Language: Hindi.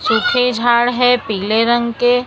सूखे झाड़ हैं पीले रंग के।